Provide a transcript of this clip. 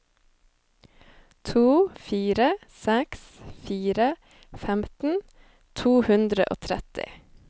to fire seks fire femten to hundre og tretti